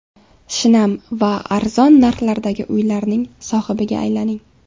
Shinam va arzon narxlardagi uylarning sohibiga aylaning!.